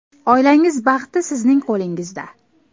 Oilangiz baxti sizning qo‘lingizda!